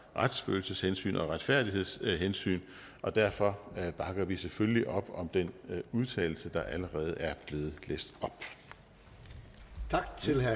retsfølelseshensyn og retfærdighedshensyn og derfor bakker vi selvfølgelig op om den udtalelse der allerede er blevet læst op